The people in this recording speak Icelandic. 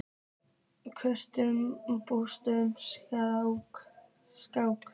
Kunniði Búlgörsku strákar?